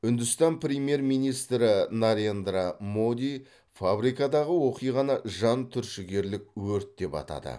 үндістан премьер министрі нарендра моди фабрикадағы оқиғаны жан түршігерлік өрт деп атады